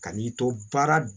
Ka n'i to baara